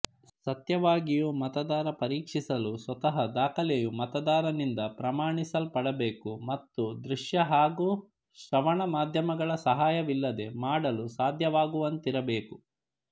ಸತ್ಯವಾಗಿಯೂ ಮತದಾರ ಪರೀಕ್ಷಿಸಲು ಸ್ವತಃ ದಾಖಲೆಯು ಮತದಾರನಿಂದ ಪ್ರಮಾಣಿಸಲ್ಪಡಬೇಕು ಮತ್ತು ದೃಶ್ಯ ಹಾಗೂ ಶ್ರವಣ ಮಾಧ್ಯಮದ ಸಹಾಯವಿಲ್ಲದೆ ಮಾಡಲು ಸಾಧ್ಯವಾಗುವಂತಿರಬೇಕು